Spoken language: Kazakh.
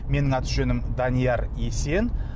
менің аты жөнім данияр есен